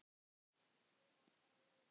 Ég var bara leigu